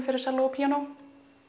fyrir selló og píanó